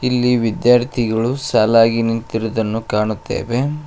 ಇಲ್ಲಿ ವಿದ್ಯಾರ್ಥಿಗಳು ಸಾಲಾಗಿ ನಿಂತಿರುದನ್ನು ಕಾಣುತ್ತೇವೆ.